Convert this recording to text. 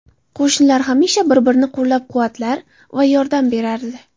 Qo‘shnilar hamisha bir-birini qo‘llab-quvvatlar va yordam berardi.